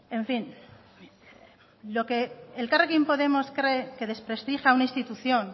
en fin lo que elkarrekin podemos cree que desprestigia a una institución